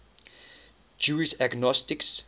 jewish agnostics